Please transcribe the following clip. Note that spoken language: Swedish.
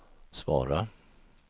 svara